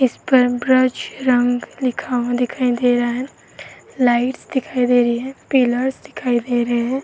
इस रंग लिखा हुआ दिखाई दे रहा है। लाइट दिखाई दे रही हैं। पिलर्स दिखाई दे रहे हैं।